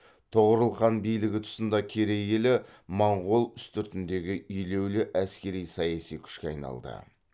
тоғорыл хан билігі тұсында керей елі моңғол үстіртіндегі елеулі әскери саяси күшке айналды